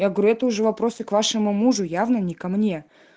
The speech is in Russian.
я говорю это уже вопросы к вашему мужу явно не ко мне